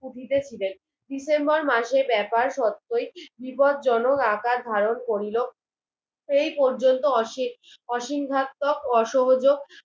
উঠিতে ছিলেন ডিসেম্বর মাসের ব্যাপার সত্যই বিপদ জনক আকার ধারণ করিলো সেই পর্যন্তু অসীম অসীমঘাতক অসহোযোক